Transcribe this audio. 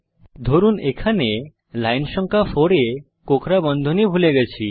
ধরুন এখানে লাইন সংখ্যা 4 এ কোঁকড়া বন্ধনী ভুলে গেছি